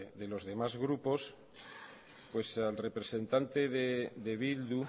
de los demás grupos al representante de bildu